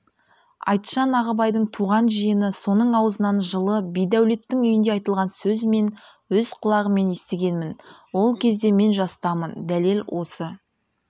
айтжан ағыбайдың туған жиені соның аузынан жылы бидәулеттің үйінде айтылған сөз мен өз құлағыммен естігенмін ол кезде мен жастамын дәлел осы